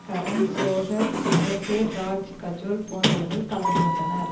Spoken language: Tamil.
கரண் ஜோஹர் சுப்ரதோ ராஜ் கஜோல் போன்றவர்கள் கலந்து கொண்டனர்